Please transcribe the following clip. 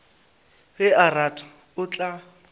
ge a rata o tla